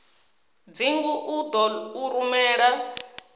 dzingu u ḓo u rumela